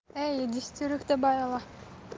эй десятерых добавила